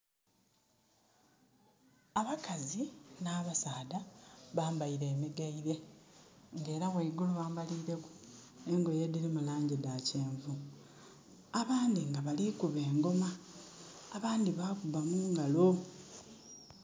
Abakazi na basaadha bambaire emigaire nga era waigulu bambalire ku engoye edirimu langi dha kyenvu abandi nga bali kuba engoma abandi bakuba mungalo